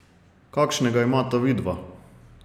Kakšnega imata vidva?